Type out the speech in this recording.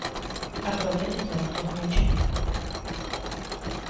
обладатель золотого мяча